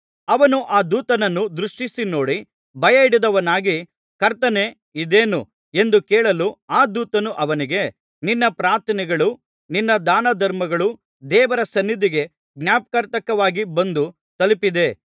ಅವನು ಆ ದೂತನನ್ನು ದೃಷ್ಟಿಸಿನೋಡಿ ಭಯಹಿಡಿದವನಾಗಿ ಕರ್ತನೇ ಇದೇನು ಎಂದು ಕೇಳಲು ಆ ದೂತನು ಅವನಿಗೆ ನಿನ್ನ ಪ್ರಾರ್ಥನೆಗಳೂ ನಿನ್ನ ದಾನಧರ್ಮಗಳೂ ದೇವರ ಸನ್ನಿಧಿಗೆ ಜ್ಞಾಪರ್ಥಕವಾಗಿ ಬಂದು ತಲುಪಿದೆ